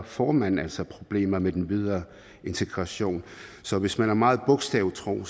får man altså problemer med den videre integration så hvis man er meget bogstavtro